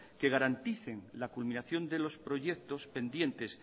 que garanticen la culminación de los proyectos pendientes